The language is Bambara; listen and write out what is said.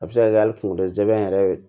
A bɛ se ka kɛ hali kunkolo zɛmɛ yɛrɛ